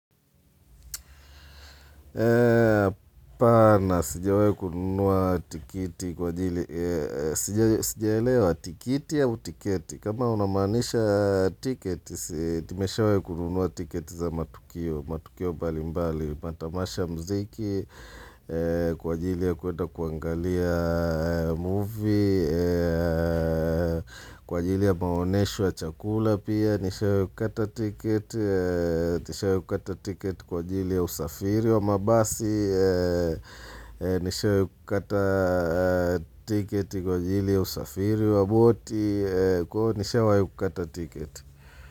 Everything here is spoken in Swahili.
Pana, sijawahi kununua tikiti kwa jili Sijaelewa tikiti au tiketi kama unamanisha tiketi tumewahi kununua tiketi za matukio matukio mbali mbali Matamasha mziki Kwa jili ya kuenda kuangalia movie Kwa jili ya maonesho ya chakula pia Nishawahi kukata tiketi Nishawahi kukata tiketi kwa ajili ya usafiri wa mabasi, nishawahi kukata tiketi kwa ajili ya usafiri wa boti, nishawahi kukata tiketi.